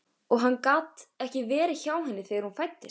Og hann gat ekki verið hjá henni þegar hún fæddist.